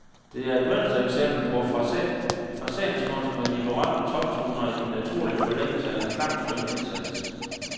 Det er et mønstereksempel på fraseringskunst, med de berømte toptoner i naturlig forlængelse af en klangskøn indsats.